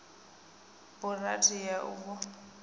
burandi ya v o a